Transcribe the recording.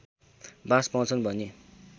बास पाउँछन् भनी